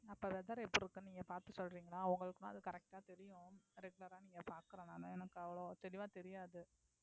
அப்ப weather எப்படி இருக்கும்னு நீங்க பார்த்து சொல்றீங்களா உங்களுக்குன்னா அது correct ஆ தெரியும் regular ஆ நீங்க பார்க்கிறனால எனக்கு அவ்வளோ தெளிவா தெரியாது